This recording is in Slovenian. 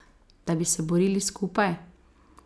Da bi se borili skupaj?